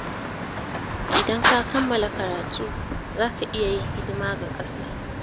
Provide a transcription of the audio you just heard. Idan ka kammala karatu, za ka iya yin hidima ga ƙasa.